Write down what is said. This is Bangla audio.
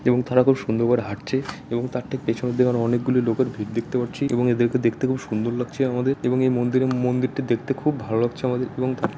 এবং তারা খুব সুন্দর করে হাটছে এবং তার ঠিক পেছনের দিকে অনেকগুলি লোকের ভিড় দেখতে পারছি এবং এদেরকে দেখতে খুব সুন্দর লাগছে আমাদের এবং এই মন্দিরের মন্দিরটা দেখতে খুব ভালো লাগছে আমাদের এবং তা--